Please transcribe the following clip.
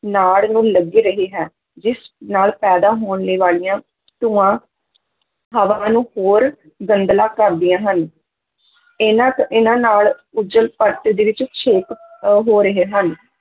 ਨਾੜ ਨੂੰ ਲੱਗ ਰਹ ਹੈ ਜਿਸ ਨਾਲ ਪੈਦਾ ਹੋਣੇ ਵਾਲੀਆਂ ਧੂੰਆਂ ਹਵਾ ਨੂੰ ਹੋਰ ਗੰਧਲਾ ਕਰਦੀਆਂ ਹਨ ਇਹਨਾਂ ਤੋਂ ਇਹਨਾਂ ਨਾਲ ਓਜ਼ੋਨ-ਪਰਤ ਦੇ ਵਿੱਚ ਛੇਕ ਅਹ ਹੋ ਰਹੇ ਹਨ